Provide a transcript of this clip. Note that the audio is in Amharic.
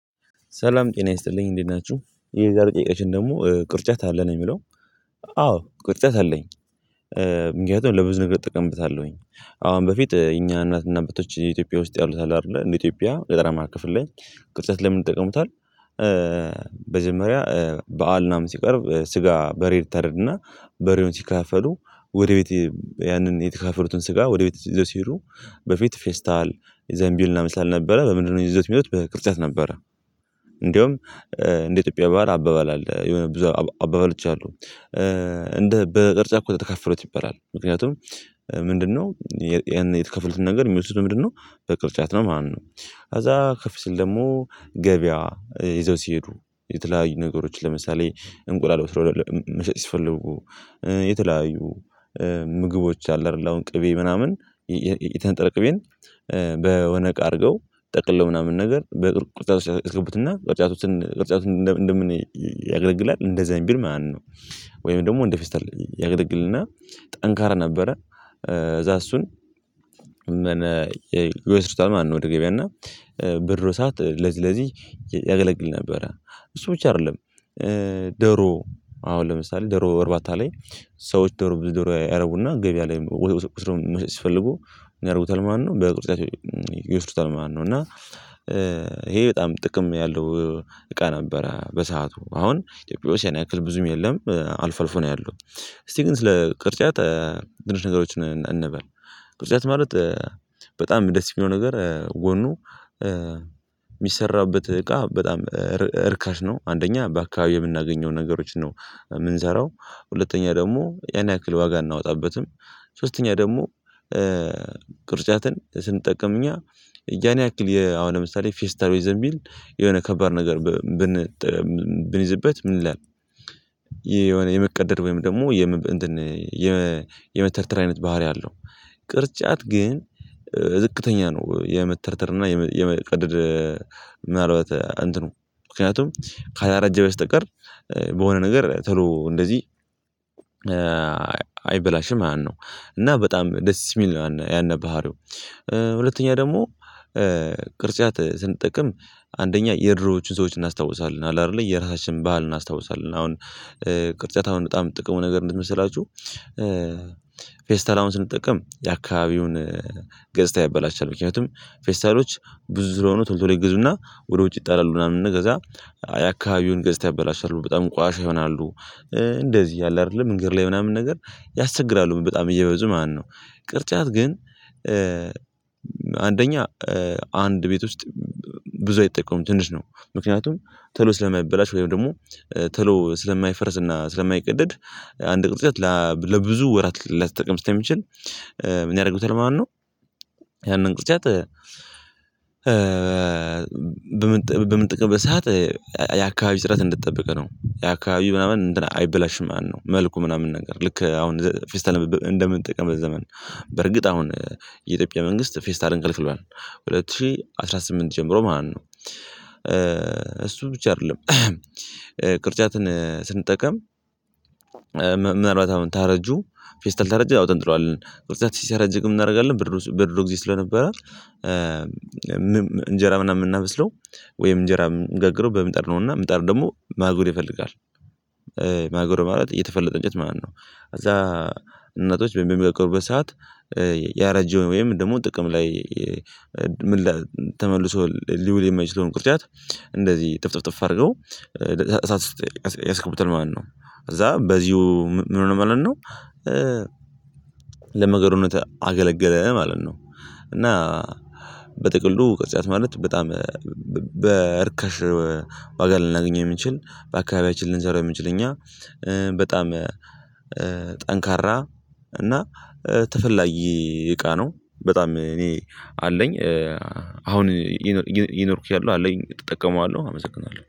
ሰላም ጤና ይስጥልኝ እንዴት ናችሁ። የዛሬው ጥያቄያችን ደግሞ ቅርጫት አለ ነው የሚለው። አዎ ቅርጫት አለኝ። ምክንያቱም ለብዙ ነገር እጠቀምበታለሁኝ። አሁን በፊት እኛ እናትና አባቶች ኢትዮጵያ ውስጥ ያሉት አሉ አይደለ እንደ ኢትዮጵያ ገጠራማ ክፍል ላይ ቅርጫት ለምን ይጠቀሙታል በመጀመሪያ በዓል ምናምን ሲቀርብ ስጋ በሬ ይታረድና በሬውን ሲካፈሉ ወደ ቤት ያንን የተካፈሉትን ስጋ ወደ ቤት ይዘው ሲሄዱ በፊት ፌስታል ዘንቢል ማንምን ስላልነበረ ነበረ በምንድነው ይዘውት የሚሄዱት በቅርጫት ነበረ። እንደውም እንደ ኢትዮጵያ ባህል አባባል አለ የሆነ ብዙ አባባሎች አሉ። እንደ በቅርጫት ተከፍፈሉት ይባላል። ምክንያቱም ምንድነው የተከፍሉትን ነገር የሚወስዱ ምንድነው በቅርጫት ነው ማለት ነው። ከዛ ከፍ ሲል ደግሞ ገበያ ይዘው ሲሄዱ የተለያዩ ነገሮች ለምሳሌ እንቁላል ወስዶ መሸጥ ሲፈልጉ የተለያዩ ምግቦች አሉ አይደል አሁን ቅቤ ምናምን የተነጠረ ቅቤን በሆነ እቃ አድርገው ጠቅልለው ምናምን ነገር በቅርጫት ውስጥ ያስገቡትና ቅርጫት ውስጥ ቅጥጫቱን እንደምን ያገለግላል እንደ ዘንቢል ማለት ነው። ወይም ደግሞ ወንድ ፌስታል ያገለግልና ጠንካራ ነበረ ከዛ እሱን እመነ ይወስዱታል ማለት ነው ወደ ገበያ። እና በድሮ ሰዓት ለዚህ ለዚህ ያገለግል ነበረ። እሱ ብቻ አይደለም፤ ደሮ አሁን ለምሳሌ ደሮ አርባታ ላይ ሰዎች ደሮ ደሮ ያረቡና ገበያ ላይ ወስደው መሸጥ ሲፈልጉ ምን የደርጉታል ማለት ነው በቅርጫቸው ይወስዱታል ማለት ነው። እና ይሄ በጣም ጥቅም ያለው እቃ ነበረ በሰአቱ። አሁን ያን ያክል ብዙም የለም አልፎ አልፎ ነው ያለው። እስቲ ግን ስለ ቅርጫት ትንሽ ነገሮችን እንበል። ቅርጫት ማለት በጣም ደስ የሚለው ነገር ጎኑ የሚሰራበት እቃ በጣም እርካሽ ነው። አንደኛ በአካባቢው የምናገኘው ነገሮች ነው የምንሰራው። ሁለተኛ ደግሞ ያን ያክል ዋጋ አናወጣበትም። ሶስተኛ ደግሞ ቅርጫትን ስንጠቅም እኛ ያን ያክል አሁን ለምሳሌ ፌስታል ወይ ዘንቢል የሆነ ከባድ ነገር ብን ብንይዝበት ምን ይላል ይሄ የሆነ የመቀደድ ወይም ደግሞ እንትን የመተርተር አይነት ባህሪ አለው። ቅርጫት ግን ዝቅተኛ ነው የመተርተር እና የመቀደድ ምናልባት እንትኑ። ምክንያቱም ካላረጀ በስተቀር በሆነ ነገር ቶሎ እንደዚህ አይበላሽም ማለት ነው። እና በጣም ደስ የሚል ነው ያነ ባህሪው። ሁለተኛ ደግሞ ቅርጫት ስንጠቅም አንደኛ የድሮዎቹን ሰዎች እናስታውሳለን። አለ አይደል የራሳችንን ባህል እናስታውሳለን። አሁን ቅርጫታውን በጣም ጥቅሙ ነገር ምንድን ነው መሰላችሁ ፌስታል አሁን ስንጠቀም የአካባቢውን ገጽታ ያበላሻል። ምክንያቱም ፌስታሎች ብዙ ስለሆኑ ቶሎ ቶሎ ይገዙና ወደ ውጭ ይጣላሉ ምናምን ከዛ የአካባቢውን ገዝታ ያበላሻሉ በጣም ቆሻሻ ይሆናሉ። እንደዚህ ያለ አይደለ መንገድ ላይ ምናምን ነገር ያስቸግራሉ በጣም እየበዙ ማለት ነው። ቅርጫት ግን አንደኛ አንድ ቤት ውስጥ ብዙ አይጠቀሙም ትንሽ ነው። ምክንያቱም ቶሎ ስለማይበላሽ ወይም ደግሞ ተሎ ስለማይፈርስና ስለማይቀደድ አንድ ቅርጫት ለብዙ ወራት ሊጠቅም ስለሚችል ምን ያደርጉታል ማለት ነው? ያንን ቅርጫት በምንጠቀምበት ሰዓት የአካባቢ ጽዳት እንደተጠበቀ ነው። የአካባቢው ምናምን እንትን አይበላሽም ማለት ነው። መልኩ ምናምን ነገር ልክ አሁን ፌስታር እንደምንጠቀምበት ዘመን። በርግጥ አሁን የኢትዮጵያ መንግስት ፌስታልን ከልክሏል። ሁለት ሺህ አስራ ስምንት ጀምሮ ማለት ነው። እሱ ብቻ አይደለም። ቅርጫትን ስንጠቀም ምናልባት አሁን ታረጁ ፌስታል ተረጁ አውጥተን እንጥለዋለን። ቅርጫት ሲ ሲያረጅ ምን እናደርጋለን በድሮስ በድሮ ጊዜ ስለነበረ እንጀራ ምናምን የምናበስለው ወይም እንጀራ የምንገግረው በምጣድ ነው እና ምጣድ ደግሞ ማገዶ ይፈልጋል። ማገዶ ማለት የተፈለጠ እንጨት ማለት ነው። እዛ እናቶች በሚጋግሩበት በሰአት ያረጀ ወይም ደግሞ ጥቅም ላይ ምን ተመልሶ ሊውል የማይችለውን ቅርጫት እንደዚህ እጥፍጥፍጥፍ አድርገው እሳት ውስጥ ያስገቡታል ማለት ነው። ከዛ በዚሁ ምን ሆነ ማለት ነው ለማገዶነት አገለገለ ማለት ነው። እና በጥቅሉ ቅርጫት ማለት በጣም በእርከሽ ዋጋ ልናገኘው የምንችል። በአካባቢያችን ልንሰራው የምንችል እኛ። በጣም ጠንካራ እና ተፈላጊ እቃ ነው። በጣም እኔ አለኝ። አሁን እየኖርኩትያለው አለኝ እጠቀመዋለሁ። አመሰግናለሁ።